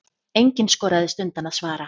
Enginn skoraðist undan að svara.